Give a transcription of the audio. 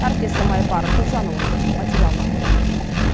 әріптесім айбар төлжанұлының материалынан көрейік